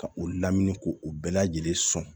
Ka o lamini ko o bɛɛ lajɛlen sɔn